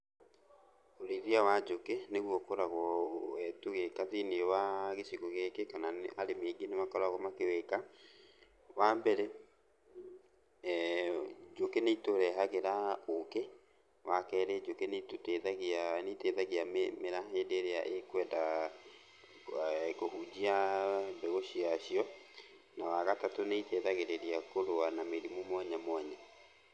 Ũrĩithia wa njũkĩ nĩguo ũkoragwo tũgĩka thĩiniĩ wa gĩcigo gĩkĩ kana arĩmi aingĩ nĩmakoragwo makĩwĩka. Wambere njũkĩ nĩitũrehagĩra ũkĩ. Wakerĩ njũkĩ nĩitũteithagia nĩiteithagia mĩmera hĩndĩ ĩrĩa ĩkwenda kũhunjia mbegũ ciacio. Na, wagatatũ nĩteithagĩrĩria kũrũa na mĩrimũ mwanya mwanya.